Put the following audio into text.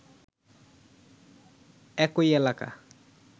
একই এলাকা